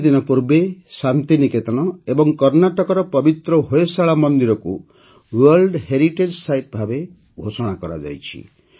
କିଛିଦିନ ପୂର୍ବେ ଶାନ୍ତି ନିକେତନ ଏବଂ କର୍ଣ୍ଣାଟକର ପବିତ୍ର ହୋଏଶାଳା ମନ୍ଦିରକୁ ୱାର୍ଲଡ଼ ହେରିଟେଜ୍ ସାଇଟ୍ ଭାବେ ଘୋଷଣା କରାଯାଇଛି